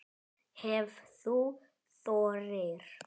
Ef þú þorir!